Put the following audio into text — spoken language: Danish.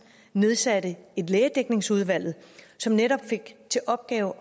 nedsatte et lægedækningsudvalg som netop fik til opgave